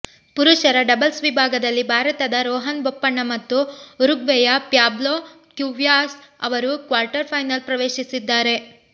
ಪುರುಷರ ಡಬಲ್ಸ್ ವಿಭಾಗದಲ್ಲಿ ಭಾರತದ ರೋಹನ್ ಬೋಪಣ್ಣ ಮತ್ತು ಉರುಗ್ವೆಯ ಪ್ಯಾಬ್ಲೊ ಕ್ಯುವಾಸ್ ಅವರು ಕ್ವಾರ್ಟರ್ ಫೈನಲ್ ಪ್ರವೇಶಿಸಿದ್ದಾರೆ